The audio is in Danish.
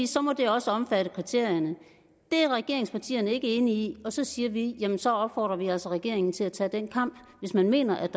så må det også omfatte kriterierne det er regeringspartierne ikke enige i og så siger vi at så opfordrer vi altså regeringen til at tage den kamp hvis man mener at